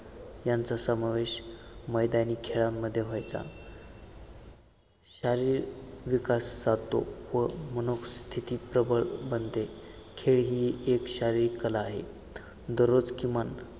यांचा समावेश मैदानी खेळांमध्ये व्हायचा शारीरिक विकास साधतो व मनःस्तिथी प्रबळ बनते. खेळ ही एक शारीरिक कला आहे दररोज किमान